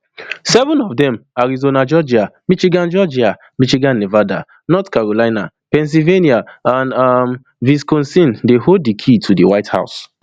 seven of dem arizona georgia michigan georgia michigan nevada north carolina pennsylvania and um wisconsin dey hold di key to di white house